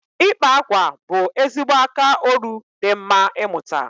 Ịkpa akwa bụ ezigbo aka oru di mma ịmụta